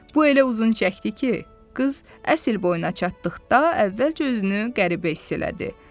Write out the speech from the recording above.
Bu elə uzun çəkdi ki, qız əsl boyuna çatdıqda əvvəlcə özünü qəribə hiss elədi.